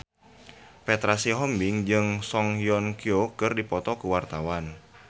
Petra Sihombing jeung Song Hye Kyo keur dipoto ku wartawan